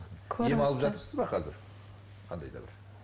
ем алып жатырыз ба қазір қандай да бір